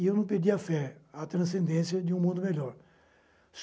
E eu não perdi a fé, a transcendência de um mundo melhor.